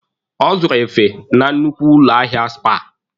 Ọ zụrụ efe na nnukwu ụlọ ahịa Spar.